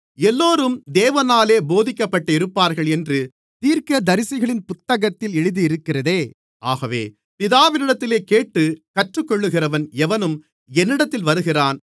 எல்லோரும் தேவனாலே போதிக்கப்பட்டிருப்பார்கள் என்று தீர்க்கதரிசிகளின் புத்தகத்தில் எழுதியிருக்கிறதே ஆகவே பிதாவினிடத்தில் கேட்டுக் கற்றுக்கொள்ளுகிறவன் எவனும் என்னிடத்தில் வருகிறான்